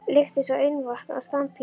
lykt eins og ilmvatn á standpínu.